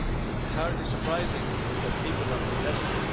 It's hardly surprising that people are protesting.